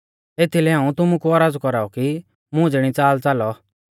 एथीलै हाऊं तुमु कु औरज़ कौराउ कि मुं ज़िणी च़ाल च़ालौ